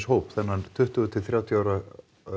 hóp þennan tuttugu til þrjátíu ára